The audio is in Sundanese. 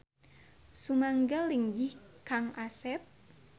Sumangga linggih Kang Asep.